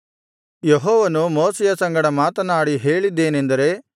ಯೆಹೋವನು ಮೋಶೆಯ ಸಂಗಡ ಮಾತನಾಡಿ ಹೇಳಿದ್ದೇನೆಂದರೆ